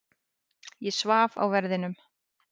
Ég svaf á verðinum.